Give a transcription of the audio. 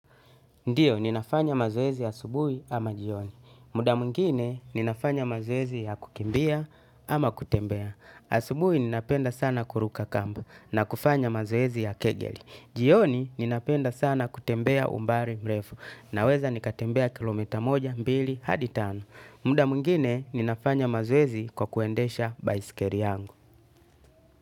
Ndiyo, ninafanya mazowezi asubui ama jioni. Muda mungine, ninafanya mazowezi ya kukimbia ama kutembea. Asubui, ninapenda sana kuruka kamba na kufanya mazowezi ya kegeli. Jioni ninapenda sana kutembea umbali mrefu naweza nikatembea kilo mita moja mbili hadi tano. Muda mwingine ninafanya mazoezi kwa kuendesha baiskeli yangu.